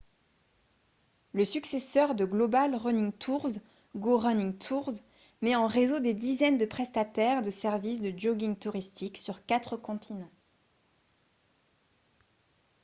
le successeur de global running tours go running tours met en réseau des dizaines de prestataires de services de jogging touristique sur quatre continents